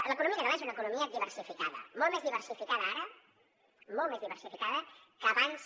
l’economia catalana és una economia diversificada molt més diversificada ara molt més diversificada que abans